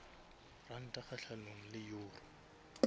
ranta kgahlanong le euro